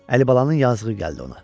Əlibalanın yazığı gəldi ona.